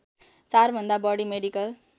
४ भन्दा बढी मेडिकल